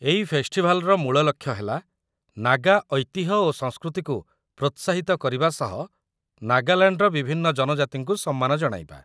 ଏଇ ଫେଷ୍ଟିଭାଲ୍‌ର ମୂଳ ଲକ୍ଷ୍ୟ ହେଲା ନାଗା ଐତିହ୍ୟ ଓ ସଂସ୍କୃତିକୁ ପ୍ରୋତ୍ସାହିତ କରିବା ସହ ନାଗାଲାଣ୍ଡର ବିଭିନ୍ନ ଜନଜାତିଙ୍କୁ ସମ୍ମାନ ଜଣାଇବା ।